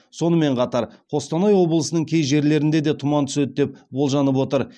сонымен қатар қостанай облысының кей жерлерінде де тұман түседі деп болжанып отыр